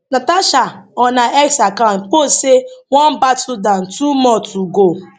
natasha on her x account post say one battle down two more to go